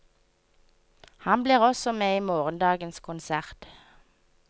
Han blir også med i morgendagens konsert.